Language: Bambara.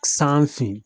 San fin